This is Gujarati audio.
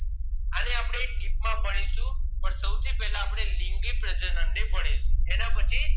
Amoeba છે plasmodium છે yeast છે એ બધા અલિંગી પ્રજનન કરે છે આને આપણે deep માં ભણીશું પણ સૌથી પહેલા આપણે લિંગી પ્રજનન ને ભણીશુંએના પછી